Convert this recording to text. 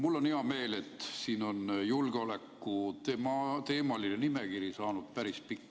Mul on hea meel, et julgeolekuteemaline nimekiri on siia saanud päris pikk.